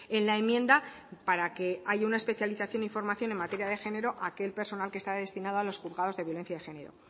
en la enmienda para que haya una especialización e información en materia de género aquel personal que está destinado a los juzgados de violencia de género